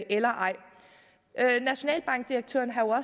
eller ej nationalbankdirektøren har jo